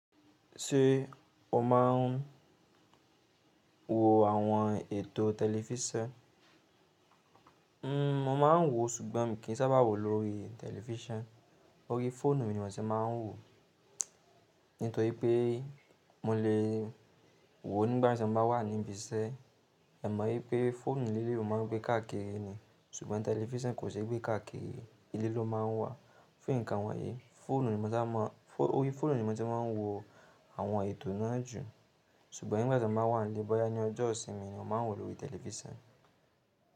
Ṣé o máa n wo àwọn ètò tẹlifísàn? N, mo máa ń wò, ṣùgbọ́n mi kì í sábà wò lórí tẹlifísàn. Ó rí fóònù ni mò ń ṣe máa ń wò. Nítorí pé mo lè wò nígbàtí mo bá wà níbi iṣẹ́. Ẹ̀ mọ̀ wípé fóònù lílo o máa ń gbé káàkiri ni, ṣùgbọ́n tẹlifísàn kò ṣe gbé káàkiri ilé ló máa ń wà. Fún ǹkan wọ̀nyí, fóònù ni mò sábà máa, orí fóònù ni mo ti ma ń wò àwọn ètò náà jù. Ṣùgbọ́n nígbàtí mo bá wà nílé, bọ́yá ní ọjọ́ ìsinmi, mo máa ń wò lórí tẹlifísàn.